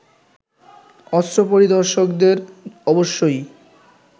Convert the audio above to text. অস্ত্র পরিদর্শকদের অবশ্যই